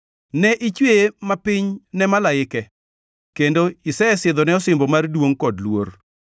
Ne ichweye mapiny ne malaike kendo isesidhone osimbo mar duongʼ kod luor.